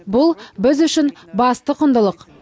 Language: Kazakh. бұл біз үшін басты құндылық